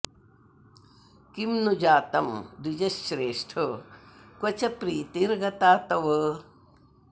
किं तु जातं द्विजश्रेष्ठ क्व च प्रीतिर्गता तव